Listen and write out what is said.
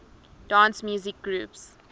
dance music groups